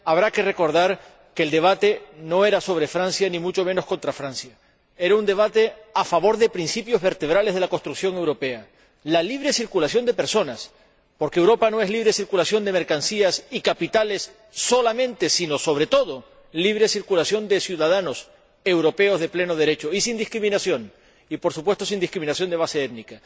Habrá que recordar que el debate no era sobre Francia ni mucho menos contra Francia era un debate a favor de principios vertebrales de la construcción europea, como la libre circulación de personas, porque Europa no es solamente libre de circulación de mercancías y capitales, sino, sobre todo, libre circulación de ciudadanos europeos de pleno derecho y sin discriminación, y, por supuesto, sin discriminación de base étnica.